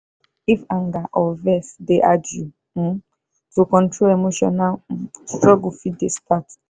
if anger or vex dey hard you um to control emotional um struggle fit dey start.